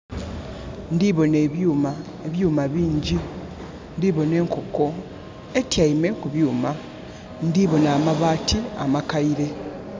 Ndiboona ebyuuma, ebyuuma bingyi. Ndhi bona enkoko, etyaime ku byuuma. Ndiboona amabaati amakaire.